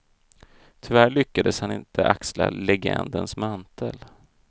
Tyvärr lyckades han inte axla legendens mantel.